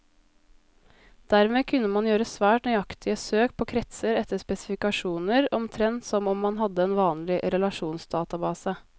Dermed kunne man gjøre svært nøyaktige søk på kretser etter spesifikasjoner, omtrent som om man hadde en vanlig relasjonsdatabase.